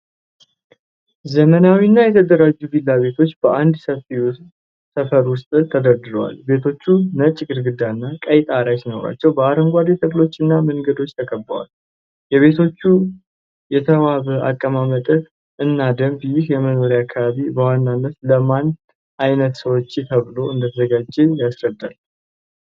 ዘመናዊ እና የተደራጁ ቪላ ቤቶች በአንድ ሰፈር ውስጥ ተደርድረዋል። ቤቶቹ ነጭ ግድግዳ እና ቀይ ጣራ ሲኖራቸው፣ በአረንጓዴ ተክሎች እና መንገዶች ተከቧል። የቤቶቹ የተዋበ አቀማመጥ እና ደንብ ይህ የመኖሪያ አካባቢ በዋናነት ለማን ዓይነት ሰዎች ተብሎ እንደተዘጋጀ ያስረዳል?